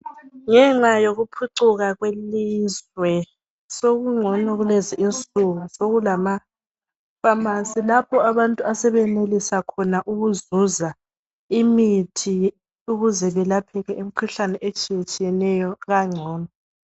Ngenxa yokuphucuka kwelizwe sokungcono kulezinsuku sokulama pharmacy lapho abantu asebenelisa ukuzuza imithi ukuze belapheke imikhuhlane etshiyetshiyeneyo kangcono